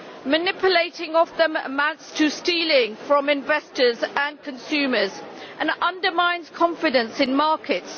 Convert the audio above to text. Manipulating them amounts to stealing from investors and consumers and undermines confidence in markets.